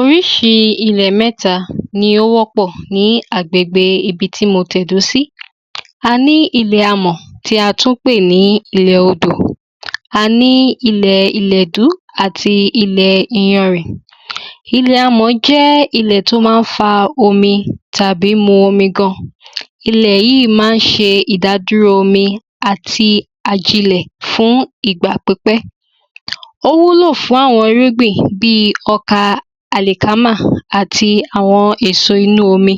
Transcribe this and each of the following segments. Orísirísi ilẹ̀ mẹ́ta ni ó wọ́pọ̀ ní agbègbè ibití mo tẹ̀dó sí, a ní ilẹ̀ amọ̀ tí a tún pè ní ilé odò, a ní ilè ilẹ̀ ìlẹ̀dú àti ilẹ̀ iyanrìn. Ilẹ̀ amọ̀ jẹ́ ilẹ̀ tó ma ń fa omi tàbí mu omi gan. Ilẹ̀ yìí ma ń ṣe ìdádúró omi àti àjilẹ̀ fún ìgbà pípẹ́. Ó wúlò fún àwọn irúgbìn bíi ọkà àlẹ̀kámà àti àwọn èso inú omi,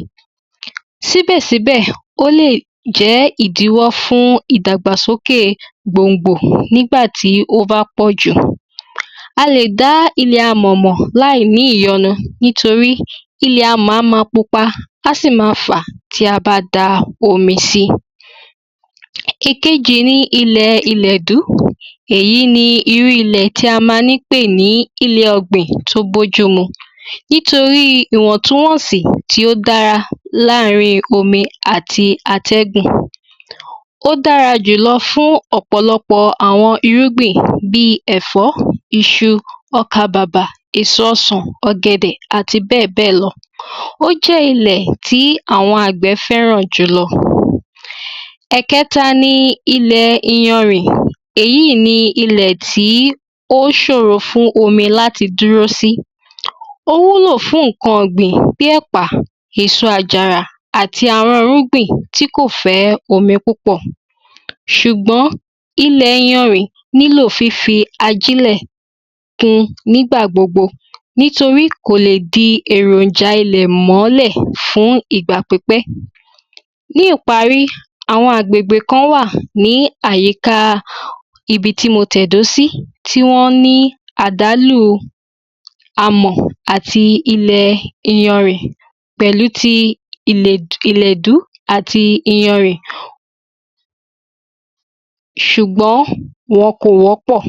síbẹ̀ síbẹ̀, ó lè jẹ́ ìdíwọ́ fún ìdàgbàsókè gbòngbò nígbà tí ó má pọ̀jù. A lè dá ilẹ̀ amọ̀ mọ̀ láì ní ìyanu nítorí ilẹ̀ amọ̀, á ma pupa, á sì ma fà tí a bá da omi si. Ìkejì ni ilẹ̀ ìlẹ̀dú, èyí ni irú ilẹ̀ tí a ma ń pè ní ilẹ̀ ọ̀gbìn tó bójú mu, nítorí ìwọ̀ntúnwọ̀nsí tí ó dára láàrin omi àti atẹ́gùn, ó dára jùlọ fún ọ̀pọ̀lọpọ̀ àwọn irúgbìn bíi ẹ̀fọ́, iṣu, ọka-bàbà, èso ọsán, ọ̀gẹ̀dẹ̀, àti bẹ́ẹ̀bẹ́ẹ̀ lọ. Ó jẹ́ ilẹ̀ tí àwọn àgbẹ̀ fẹ́ràn jùlọ. Èkẹta ni, ilẹ̀ iyanrìn, èyí ni ilẹ̀ tí ó sòrò fún omi láti dúró sí. Ó wúlò fún ǹkan ọ̀gbìn, bí ẹ̀pà, èso àjàrà àti àwọn irúgbìn tí kò fẹ́ omi púpọ̀. Ṣùgbọ́n, ilè iyanrìn ní lò lí fi ajílẹ̀ kun nígbà gbogbo nítorí kò le di èròjà ilẹ̀ mọ́lẹ̀ fún ìgbà pípẹ́. Ní ìparí,, àwọn agbègbè kan wà ní àyíká ibití mo tẹ̀dó sí, tí wọ́n ní àdálù amọ̀ àti ilẹ̀ iyanrìn, pẹ̀lu ti ìlẹ̀dú àti iyanrìn, sùgbọ́n, wọn kò wọ́pọ̀.